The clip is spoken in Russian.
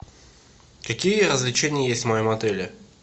какие развлечения есть в моем отеле